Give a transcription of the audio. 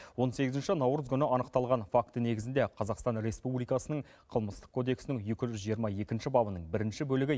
он сегізінші наурыз күні анықталған факті негізінде қазақстан республикасының қылмыстық кодексінің екі жүз жиырма екінші бабының бірінші бөлігі